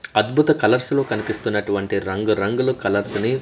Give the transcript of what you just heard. అద్భుత కలర్స్ లో కనిపిస్తున్నటువంటి రంగురంగులు కలర్స్ ని--